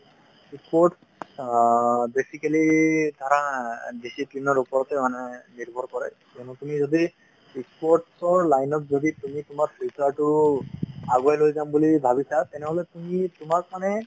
sports অ basically ধৰা discipline ৰ ওপৰতে মানে নিৰ্ভৰ কৰে কিয়নো তুমি যদি sports ৰ line ত যদি তুমি তোমাৰ future টো আগুৱাই লৈ যাম বুলি ভাবিছা তেনেহ'লে তুমি তোমাক মানে